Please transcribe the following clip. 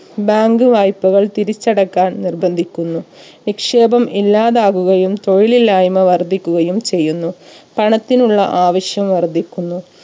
bank വായ്പകൾ തിരിച്ചടക്കാൻ നിർബന്ധിക്കുന്നു നിക്ഷേപം ഇല്ലാതാവുകയും തൊഴിലില്ലായ്മ വർധിക്കുകയും ചെയ്യുന്നു പണത്തിനുള്ള ആവശ്യം വർധിക്കുന്നു